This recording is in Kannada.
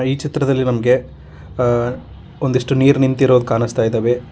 ಈ ಚಿತ್ರದಲ್ಲಿ ನಮಗೆ ಒಂದಿಷ್ಟು ಹ ನೀರ್ ನಿಂತಿರುವುದು ಕಾಣಿಸ್ತಾ ಇದಾವೆ.